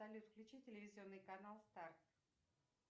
салют включи телевизионный канал старт